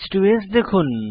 h2স্ দেখুন